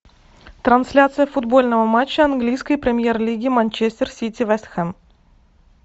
трансляция футбольного матча английской премьер лиги манчестер сити вест хэм